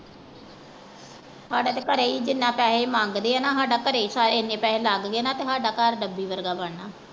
ਸਾਡਾ ਤੇ ਘਰੇ ਈ ਜਿੰਨਾ ਪੈਹੇ ਇਹ ਮੰਘਦੇ ਆ ਨਾਸਦਾ ਘਰੇ ਈ ਇੰਨੇ ਪੈਹੇ ਲੱਗ ਗਏ ਸਾਡਾ ਘਰ ਡੱਬੀ ਵਰਗਾ ਬਣਨਾ।